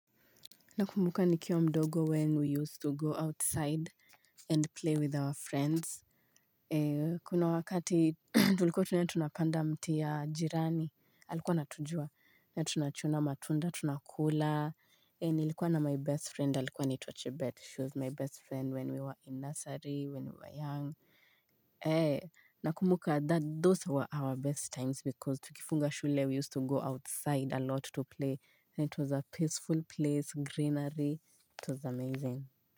Nakumbuka nikiwa mdogo when we used to go outside and play with our friends. Kuna wakati tulikuwa tunaenda tunapanda mti ya jirani. Alikuwa anatujua, tunachuna matunda, tunakula. Nilikuwa na my best friend, alikuwa anitwa chebet. She was my best friend when we were in Nursery, when we were young. Nakumbuka those were our best times because tukifunga shule we used to go outside alot to play. It was a peaceful place greenery it was amazing.